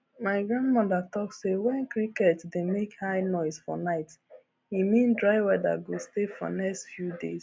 my grandmother talk say when cricket dey make high noise for night e mean dry weather go stay for next few days